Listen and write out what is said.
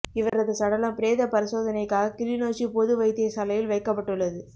இவரது சடலம் பிரேத பரிசோதனைக்காக கிளிநொச்சி பொது வைத்தியசாலையில் வைக்கப்பட்டுள்ளது